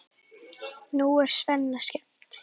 Nú er Svenna skemmt.